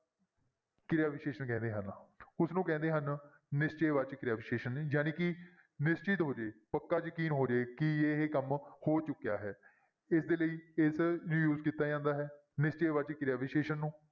ਕਿਰਿਆ ਵਿਸ਼ੇਸ਼ਣ ਕਹਿੰਦੇ ਹਨ ਉਸਨੂੰ ਕਹਿੰਦੇ ਹਨ ਨਿਸ਼ਚੈ ਵਾਚਕ ਕਿਰਿਆ ਵਿਸ਼ੇਸ਼ਣ ਜਾਣੀ ਕਿ ਨਿਸ਼ਚਿਤ ਹੋ ਜਾਏ, ਪੱਕਾ ਯਕੀਨ ਹੋ ਜਾਏ ਕਿ ਇਹ ਕੰਮ ਹੋ ਚੁੱਕਿਆ ਹੈ ਇਸਦੇ ਲਈ ਇਸ ਨੂੰ use ਕੀਤਾ ਜਾਂਦਾ ਹੈ ਨਿਸ਼ਚੈ ਵਾਚਕ ਕਿਰਿਆ ਵਿਸ਼ੇਸ਼ਣ ਨੂੰ।